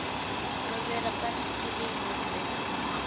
Að vera besti vinur minn.